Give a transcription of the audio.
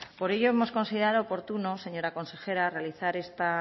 por ello hemos considerado oportuno señora consejera realizar esta